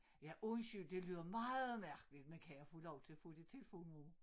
Ja undskyld det lyder meget mærkeligt men kan jeg få lov til at få dit telefonnummer